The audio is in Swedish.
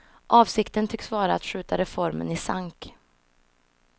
Avsikten tycks vara att skjuta reformen i sank.